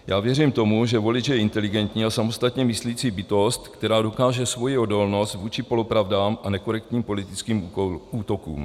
Já věřím tomu, že volič je inteligentní a samostatně myslící bytost, která dokáže svoji odolnost vůči polopravdám a nekorektním politickým útokům.